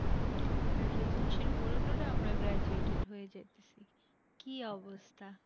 আর পড়ে টোরে আমরা graduated হয়ে যাইতেছি কি অবস্থা।